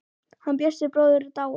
Hann Bjössi bróðir er dáinn.